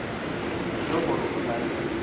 ye gore o na le